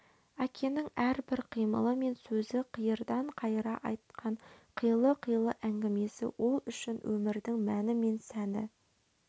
әкенің әрбір қимылы мен сөзі қиырдан қайыра айтқан қилы-қилы әңгімесі ол үшін өмірдің мәні мен сәні